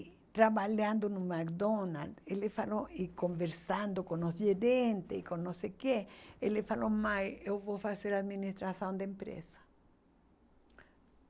trabalhando no McDonald's, ele falou, e conversando com os gerentes e com não sei o quê, ele falou, mãe, eu vou fazer administração de empresa.